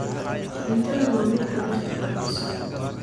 cuntadhan waa mid tabarta kordiso